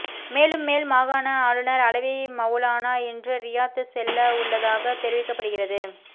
மேலும் மேல் மாகாண ஆளுநர் அலவி மவுலானா இன்று ரியாத் செல்லவுள்ளதாகத் தெரிவிக்கப்படுகிறது